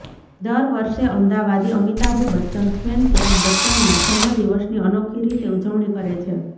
દર વર્ષે અમદાવાદી અમિતાભ બચ્ચન ફેન ક્લબ બચ્ચનના જન્મ દિવસની અનોખી રીતે ઉજવણી કરે છે